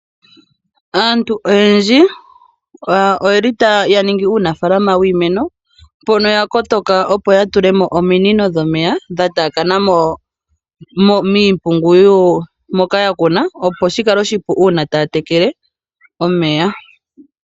Aantu oyendji oyeli ya ningi uunafalama wiimeno. Mpono ya kotoka opo ya tulemo ominino dhomeya dha taakana miimpungu moka ya kuna. Opo shikale oshipu una taya tekele omeya.